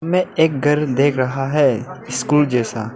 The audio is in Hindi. इसमें एक घर देख रहा है स्कूल जैसा।